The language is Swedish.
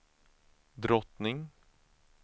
drottning